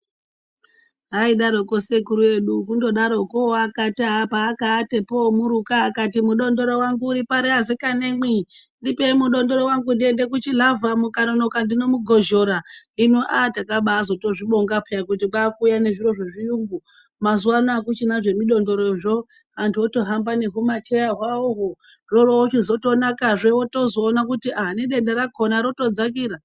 Aidaroko sekuru edu kundodaroko akaata paakaatapo oomuruka akati mudondoro wangu uri pari asikanamwi, ndipei mudondoro wangu ndiende kuchilavha mukanonoka ndinomugozhora. Hino aha takabaatozozvibonga peya kuti kwaakuuya nezviro zvezviyungu mazuvano hakuchina zvemidondorozvo antu otohamba nehumacheya hwawoho zvoorochitozonakazve wotozoona kuti ah nedenda rakona rotodzakira.